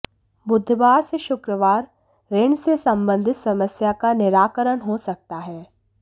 बुधवार से शुक्रवार ऋण से सम्बंधित समस्या का निराकरण हो सकता है